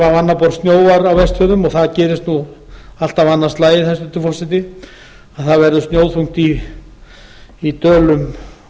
annað borð snjóar á vestfjörðum og það gerist nú alltaf annað slagið hæstvirtur forseti að það verður snjóþungt í dölum